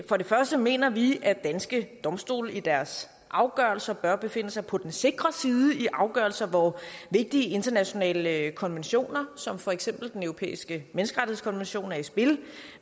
for det første mener vi at danske domstole i deres afgørelser bør befinde sig på den sikre side i afgørelser hvor vigtige internationale konventioner som for eksempel den europæiske menneskerettighedskonvention er i spil